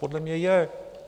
Podle mě je.